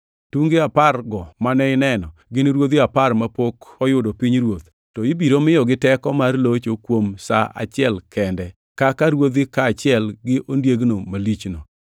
“Tunge apargo mane ineno, gin ruodhi apar mapok oyudo pinyruoth to ibiro miyogi teko mar locho kuom sa achiel kende, kaka ruodhi kaachiel gi ondiek malichno.